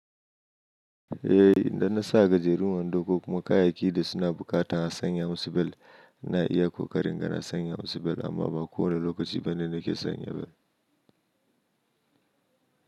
Eh, idan na sa gajerun wando ko kuma kayayyakin da suna buƙata a sanya musu bel na iya ƙoƙarin ga na sanya musu bel amma ba kowane lokaci ba ne nake sanya bel.